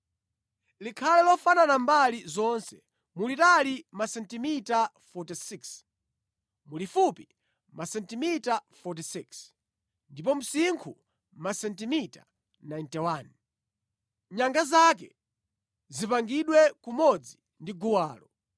Likhale lofanana mbali zonse. Mulitali masentimita 46, mulifupi masentimita 46, ndipo msinkhu masentimita 91. Nyanga zake zipangidwe kumodzi ndi guwalo.